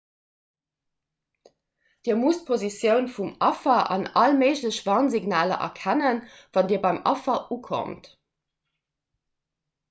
dir musst d'positioun vum affer an all méiglech warnsignaler erkennen wann dir beim affer ukommt